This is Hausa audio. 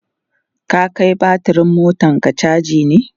ka Kai batir ɗin motanka chaji ne?